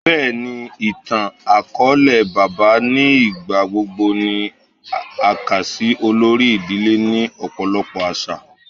Bẹẹni, ni itan-akọọlẹ, baba ni igbagbogbo ni a kà si olori idile ni ọpọlọpọ aṣa